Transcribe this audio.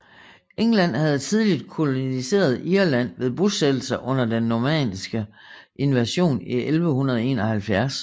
England havde tidligt koloniseret Irland ved bosættelser under den normanniske invasion i 1171